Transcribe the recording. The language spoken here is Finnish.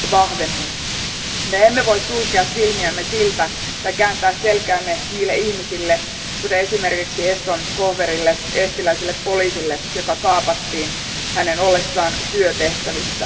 Me emme voi sulkea silmiämme tai kääntää selkäämme näille ihmisille, kuten esimerkiksi Eston Kohverille, eestiläiselle poliisille, joka kaapattiin hänen ollessaan työtehtävissä.